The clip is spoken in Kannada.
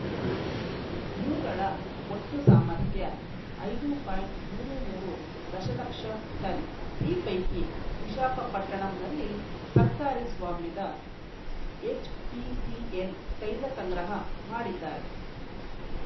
ಇವುಗಳ ಒಟ್ಟು ಸಾಮರ್ಥ್ಯ ಐದು ಪಾಯಿಂಟ್ ಮೂವತ್ತ್ ಮೂರು ದಶಲಕ್ಷ ಟನ್‌ ಈ ಪೈಕಿ ವಿಶಾಖಪಟ್ಟಣಂನಲ್ಲಿ ಸರ್ಕಾರಿ ಸ್ವಾಮ್ಯದ ಎಚ್‌ಪಿಸಿಎಲ್‌ ತೈಲ ಸಂಗ್ರಹ ಮಾಡಿದ್ದರೆ